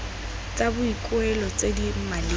tsa boikuelo tse di maleba